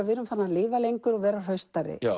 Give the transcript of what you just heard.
við erum farin að lifa lengur og vera hraustari